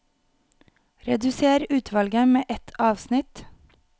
Redusér utvalget med ett avsnitt